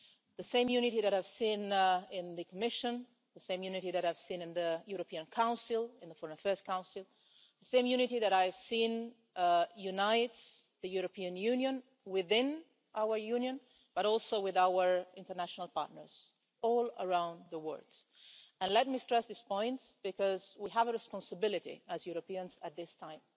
It is the same unity that I have seen in the Commission, the same unity that I have seen in the European Council, in the Foreign Affairs Council, and the same unity that I have seen uniting the European Union within our Union, but also with our international partners all around the world. Let me stress this point because we have a responsibility as Europeans at this time.